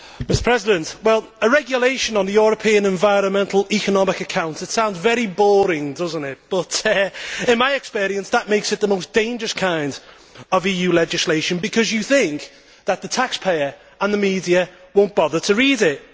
Mr President, a regulation on the European environmental economic accounts sounds very boring but, in my experience, that makes it the most dangerous kind of EU legislation, because you think that the taxpayer and the media will not bother to read it.